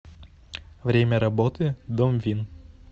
время работы домвин